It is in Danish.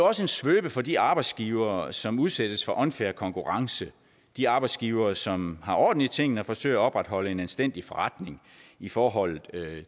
også en svøbe for de arbejdsgivere som udsættes for unfair konkurrence de arbejdsgivere som har orden i tingene og forsøger at opretholde en anstændig forretning i forhold